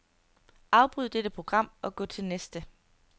Afbryd dette program og gå til næste.